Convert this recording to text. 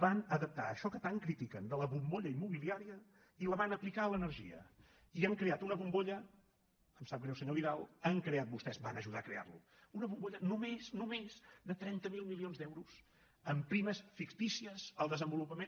van adaptar això que tant critiquen de la bombolla immobiliària i la van aplicar a l’energia i han creat una bombolla em sap greu senyor vidal han creat vostès van ajudar a crearla una bombolla només només de trenta miler milions d’euros amb primes fictícies al desenvolupament